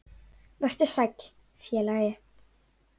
Vertu sæll, félagi.